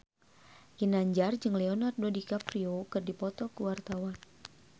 Ginanjar jeung Leonardo DiCaprio keur dipoto ku wartawan